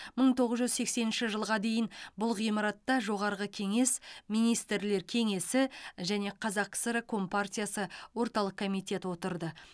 мың тоғыз жүз сексенінші жылға дейін бұл ғимаратта жоғарғы кеңес министрлер кеңесі және қазақ кср компартиясы орталық комитеті отырды